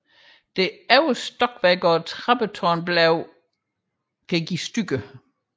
Det øverste stokværk og trappetårnet er senere nedbrudt